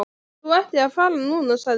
Þú ættir að fara núna, sagði hún.